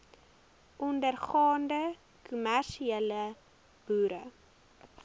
ondergaande kommersiële boere